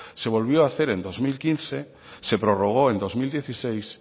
se volvió a hacer en dos mil quince se prorrogó en dos mil dieciséis